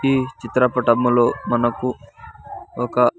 ఈ చిత్రపటములో మనకు ఒక.